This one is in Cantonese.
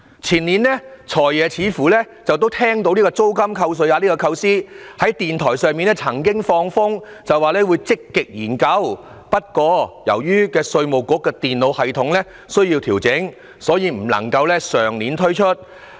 前年"財爺"似乎聽到租金扣稅額的構思，曾在電台節目放風聲說會積極研究，但由於稅務局的電腦系統需要調整，所以不能夠在上年推出。